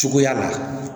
Cogoya la